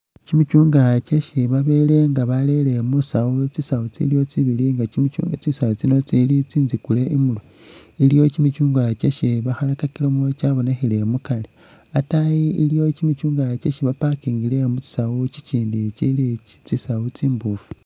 Chimichungwa chesi babowela nga balele musawu tsisawu tsiliwo tsibili nga chi.. tsisawu tsino tsili tsi nzikule inyuma, iliwo kimichungwa kyesi bakhalakakilemo kyabonekhele mukari, ataayi iliwo kimichungwa kyesi baparkingile mutsisawu kikindi kili tsisawu tsimboofu